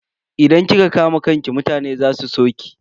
Idan kika kama kanki mutane za su so ki.